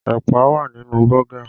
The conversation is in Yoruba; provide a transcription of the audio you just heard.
Ẹ̀pà wà nínú Bọ́gà